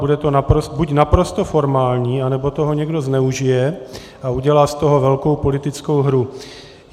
Bude to buď naprosto formální, anebo toho někdo zneužije a udělá z toho velkou politickou hru.